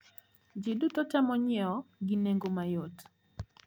Ji duto temo nyiewo gi nengo mayot.